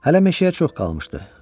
Hələ meşəyə çox qalmışdı.